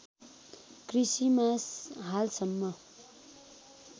कृषिमा हालसम्म